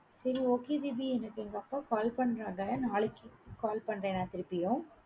சரி okay தீபி எனக்கு, எங்கப்பா call பண்றாங்க, நாளைக்கு call பண்றேன் நான் திருப்பியும்.